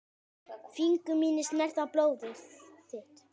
Fingur mínir snerta blóð þitt.